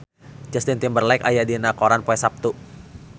Justin Timberlake aya dina koran poe Saptu